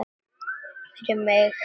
Fyrir mig.